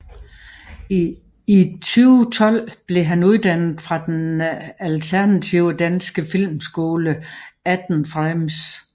I 2012 blev han uddannet fra den alternative danske filmskole 18 Frames